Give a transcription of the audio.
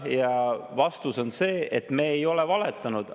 Ja vastus on see, et me ei ole valetanud.